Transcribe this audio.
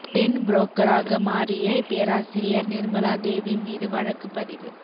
பெண் புரோக்கராக மாறிய பேராசிரியர் நிர்மலா தேவி மீது வழக்கு பதிவு